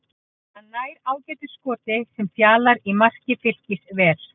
Hann nær ágætu skoti sem Fjalar í marki Fylkis ver.